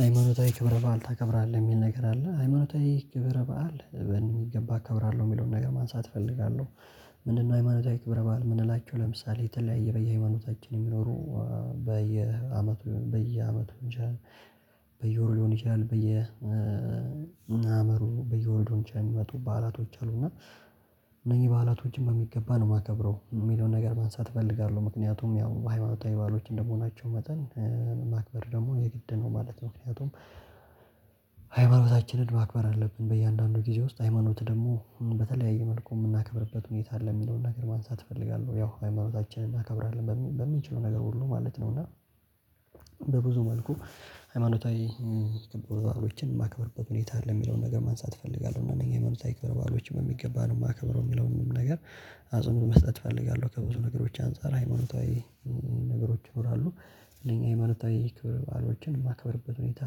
ሃይማኖታዊ ክብረ በዓል ታከብራለህ የሚል ነገር አለ ሃይማኖታዊ ክብረ በዓል በሚገባ እከብራለሁ የሚለውን ነገር ማንሳት እፈልጋለሁ። ምንድነው ሃይማኖታዊ ክብረ በዓል የምንላቸው ለምሳሌ የተለያየ በየሃይማኖታችን የሚኖሩ። በየአመቱ በየአመቱ ይቻላል በየወሩ ሊሆን ይችላል በየ አመቱ በየወር ሊሆን ይችላል የሚመጡ በዓላቶች አሉና። እነኝህ በዓላቶችን በሚገባ ነው የማከብረው የሚለውን ነገር ማንሳት እፈልጋለሁ። ምክንያቱም ያው ሃይማኖታዊ በዓሎች እንደመሆናቸው መጠን ማክበር ደግሞ የግድ ነው ማለት ነው። ምክንያቱም ማክበር አለብን በእያንዳንዱ ጊዜ ውስጥ ሃይማኖት ደግሞ በተለያየ መልኩ የምናከብርበት ሁኔታ ለሚለው ነገር ማንሳት እፈልጋለሁ። ያው ሃይማኖታችንን እናከብራለን በሚችለው ነገር ሁሉ ማለት ነው። እና በብዙ መልኩ ሃይማኖታዊ የከበሩ ባህሎችን ማክበርበት ሁኔታ አለ የሚለውን ነገር ማንሳት እፈልጋለሁ። እና እነኝህ ሃይማኖታዊ ክብረ ባዕሎችም የሚገባ ነው የማከብረው የሚለው ምንም ነገር አጽንኦት መስጠት እፈልጋለሁ። ከብዙ ነገሮች አንፃር ሃይማኖታዊ ነገሮች ይኖራሉ። እነኛ ሃይማኖታዊ የክብር ባዕሎችን የማከብርበት ሁኔታ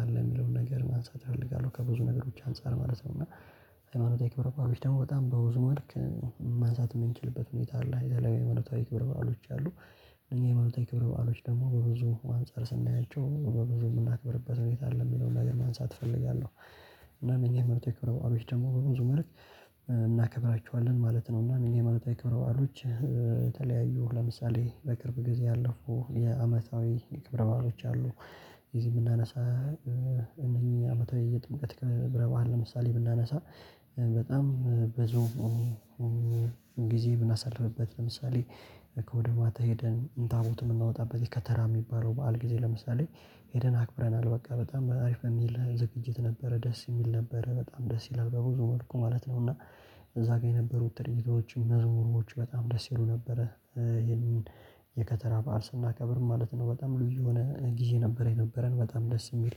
አለ የሚለውን ነገር ማንሳት እፈልጋለሁ። ከብዙ ነገሮች አንፃር ማለት ነው። እና ሃይማኖታዊ ክብረ ባዕሎች ደግሞ በጣም በብዙ መልክ ማንሳት የምንችልበት ሁኔታ አለ የተለያየ ማለታዊ ክብር በዓሎች አሉ። እነዚህ የማለታዊ ክብር በዓሎች ደግሞ በብዙ አንፃር ስናያቸው በብዙ የምናክብርበት ሁኔታ አለ የሚለውን ነገር ማንሳት እፈልጋለሁ። እና እነኚህ ሃይማኖታዊ ክበረ ባዕሎች ደግሞ በብዙ መልክ እናከብራችኋለን ማለት ነው። እና እነኝህ ሃይማኖታዊ ክብረ ባህሎች። የተለያዩ ለምሳሌ በቅርብ ጊዜ ያለፉ የአመታዊ የክብረ ባህሎች አሉ። የዚህ የምናነሳ እነኚህ አመታዊ ጥምቀት ከብረባህን ለምሳሌ ብናነሳ። በጣም ብዙ ጊዜ ብናሳልፍበት። ለምሳሌ ከወደ ማታ ሄደን ታቦት የምናወጣበት ከተራ የሚባለው በዓል ጊዜ ለምሳሌ ሄደን አክብረናል። በቃ በጣም አሪፍ የሚል ዝግጅት ነበረ ደስ የሚል ነበረ በጣም ደስ ይላል በብዙ መልኩ ማለት ነው። እና እዛ ጋር የነበሩት ትርጊቶችም መዝሙሮች በጣም ደስ ይሉ ነበረ። ይሄንን የከተራ ባህር ስናከብር ማለት ነው። በጣም ልዩ የሆነ ጊዜ ነበር የነበረን በጣም ደስ የሚል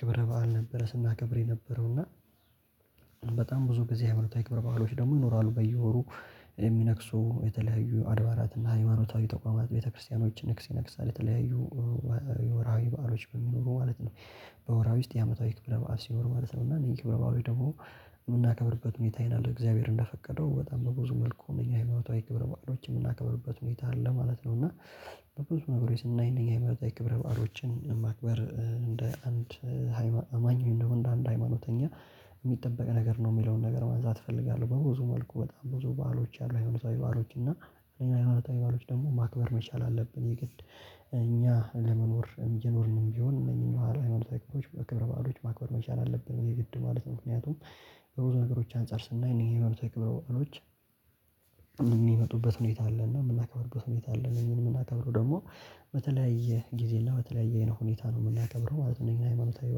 ክብረ በዓል ነበረ። ስናከብር የነበረው እና በጣም ብዙ በዚህ ሃይማኖታዊ ክብረ ባህሎች ደግሞ ይኖራሉ። በየወሩ የሚነክሱ የተለያዩ አድባራትና ሃይማኖታዊ ተቋማት ቤተክርስቲያኖች ንግስ ይነግሳል የተለያዩ የወርሃዊ በዓሎች በሚኖሩ ማለት ነው። በወርሃዊ ውስጥ የአመታዊ ክብረ በዓል ሲኖር ማለት ነው። እና እነዚህ ክብረ በዓል ደግሞ የምናከብርበት ሁኔታ ይላል እግዚአብሔር እንደፈቀደው በጣም በብዙ መልኩ ነው የሃይማኖታዊ ክብረ ባህሎች የምናከብርበት ሁኔታ አለ ማለት ነው። እና በብዙ ነገሮች ስናይ እነኚህ ሃይማኖታዊ የክብረ በዓሎችን ማክበር እንደ አንድ ሃይማኖት አማኝ እንደው እንደ አንድ ሃይማኖተኛ የሚጠበቅ ነገር ነው የሚለውን ነገር ማንሳት እፈልጋለሁ። በብዙ መልኩ በጣም ብዙ ባሎች አሉ ሃይማኖታዊ ባዕሎች እና ሌላ ሃይማኖታዊ ባእሎች ደግሞ ማክበር መቻል አለብን። የግድ እኛ ለመኖር እየኖርንም ቢሆን እነዚህን መሃል ሃይማኖታዊ በአክብሮት ማክበር መቻል አለብን። የግድ ማለት ምክንያቱም በብዙ ነገሮች አንፃር ስናይ እኔ ሃይማኖታዊ ክብረ ባዕሎች። የሚመጡበት ሁኔታ አለ እና የምናከብርበት ሁኔታ አለ እኔን የምናከብረው ደግሞ በተለያየ ጊዜ እና በተለያየ ሁኔታ ነው የምናከብረው ማለት ነው። እነዚህን ሃይማኖታዊ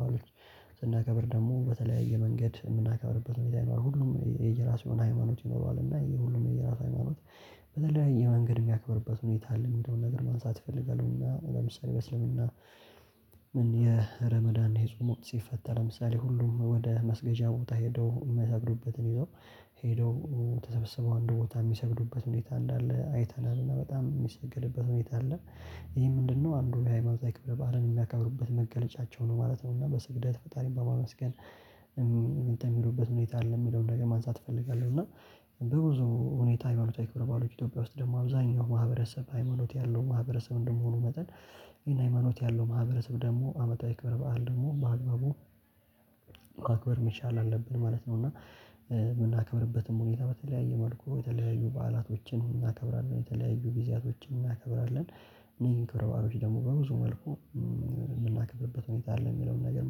ባህሎች ስናከብር ደግሞ በተለያየ መንገድ የምናከብርበት ሁኔታ ይኖራል። ሁሉም የየራሱ የሆነ ሃይማኖት ይኖረዋል። እና የሁሉም የየራሱ ሃይማኖት በተለያየ መንገድ የሚያክብርበት ሁኔታ አለ የሚለውን ነገር ማንሳት ይፈልጋሉና። ወደ ምሳሌ በእስልምና ምን የረመዳን የጾም ወቅት ሲፈተር ለምሳሌ ሁሉም ወደ መስገጃ ቦታ ሄደው የሚሰግዱበትን ይዘው ሄደው ተሰብስበው አንድ ቦታ የሚሰግዱበት ሁኔታ እንዳለ አይተናል። እና በጣም የሚሰግልበት ሁኔታ አለ ይሄ ምንድነው? አንዱ የሃይማኖታዊ ክብረ ባህልን የሚያከብሩበት መገለጫቸው ነው ማለት ነው። እና በስግደት ፈጣሪን በማመስገን እንት የሚሉበት ሁኔታ አለ የሚለውን ነገር ማንሳት እፈልጋለሁ። እና በብዙ ሁኔታ ሃይማኖታዊ ክብረ ባሎች ኢትዮጵያ ውስጥ ደግሞ አብዛኛው ማህበረሰብ ሃይማኖት ያለው ማህበረሰብ እንደመሆኑ መጠን። ይሄን ሃይማኖት ያለው ማህበረሰብ ደግሞ አመታዊ ክብር በዓል ደግሞ በአግባቡ ማክበር መቻል አለብን ማለት ነው። እና የምናከብርበትም ሁኔታ በተለያየ መልኩ የተለያዩ በዓላቶችን እናከብራለን የተለያዩ ጊዜያቶችን እናከብራለን። እኔ ክብር ባሮች ደግሞ በብዙ መልኩ የምናከብርበት ሁኔታ አለ የሚለውን ነገር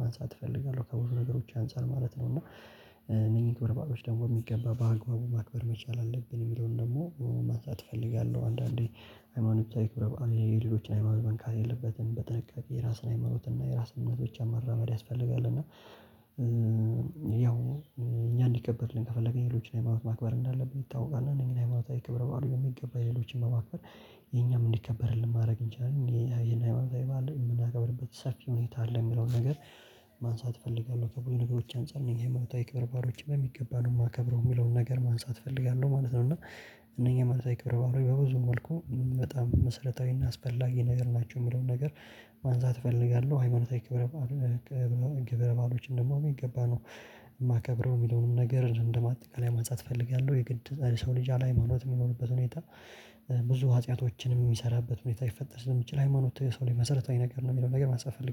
ማንሳት እፈልጋለሁ። ከብዙ ነገሮች አንፃር ማለት ነው። እና እኔ ክብረ ባህሎች ደግሞ የሚገባ በአግባቡ ማክበር መቻል አለብን የሚለውን ደግሞ ማንሳት እፈልጋለሁ። አንዳንዴ ሃይማኖት ክብረ ባህል ላይ የሌሎችን ሃይማኖት መንካት የለበትም። በጥንቃቄ የራስን ሃይመኖት እና የራስ ብቻ መራመድ ያስፈልጋል። እና ያው እኛ እንዲቀበልልን ከፈለገን ሌሎችን ሃይማኖት ማክበር እንዳለብን ይታወቃል። እነዚህን ሃይማኖታዊ ክብረ ባህሎች በሚገባ ሌሎችን በማከር የኛም እንዲከበርልን ማድረግ እንችላለን። የእኛ ሃይማኖታዊ ባእል የምናከብርበት ሰፊ ሁኔታ አለ የሚለውን ነገር ማንሳት እፈልጋለሁ። ከብዙ ነገሮች አንፃር እነኝ ሃይማኖታዊ ክብረ ባዕላት በሚገባ ነው የማከብረው የሚለውን ነገር ማንሳት እፈልጋለሁ ማለት ነው። እና እነኛ ማለት ሃይማኖታዊ ክብር ባዕላት በብዙ መልኩ በጣም መሰረታዊና አስፈላጊ ነገር ናቸው። የምለውን ነገር ማንሳት እፈልጋለሁ። ሃይማኖታዊ ክብረ ክብረ ባሎች ደግሞ የሚገባ ነው። የማከብረው እንደሁሉም ነገር አጠቃላይ ማንሳት እፈልጋለሁ። የግድ ሰው ልጅ ያለ ሃይማኖት የሚኖርበት ሁኔታ ብዙ ሃጢያቶችንም የሚሰራበት ሁኔታ ይፈጠር ስለሚችል ሃይማኖት የሰው ላይ መሰረታዊ ነገር ነው የሚለው ነገር ማንሳት እፈልጋለው